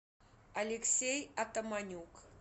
алексей атаманюк